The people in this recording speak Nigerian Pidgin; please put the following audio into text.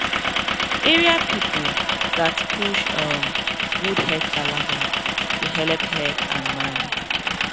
area people gatz push um good head palava to helep head and mind